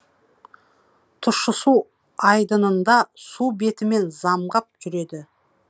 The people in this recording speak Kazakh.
тұщысу айдынында су бетімен замғап жүреді